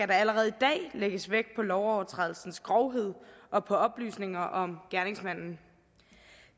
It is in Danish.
der allerede i dag lægges vægt på lovovertrædelsens grovhed og på oplysninger om gerningsmanden